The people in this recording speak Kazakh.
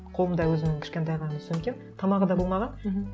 қолымда өзімнің кішкентай ғана сөмкем тамағы да болмаған мхм